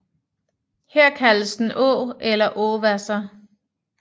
Her kaldes den Aa eller Aawasser